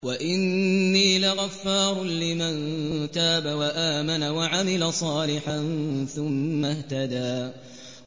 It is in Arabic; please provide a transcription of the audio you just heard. وَإِنِّي لَغَفَّارٌ لِّمَن تَابَ وَآمَنَ وَعَمِلَ صَالِحًا ثُمَّ اهْتَدَىٰ